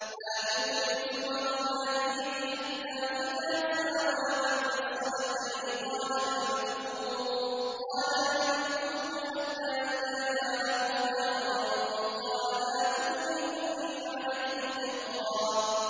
آتُونِي زُبَرَ الْحَدِيدِ ۖ حَتَّىٰ إِذَا سَاوَىٰ بَيْنَ الصَّدَفَيْنِ قَالَ انفُخُوا ۖ حَتَّىٰ إِذَا جَعَلَهُ نَارًا قَالَ آتُونِي أُفْرِغْ عَلَيْهِ قِطْرًا